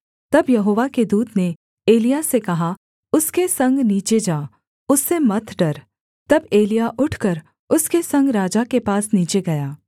तब यहोवा के दूत ने एलिय्याह से कहा उसके संग नीचे जा उससे मत डर तब एलिय्याह उठकर उसके संग राजा के पास नीचे गया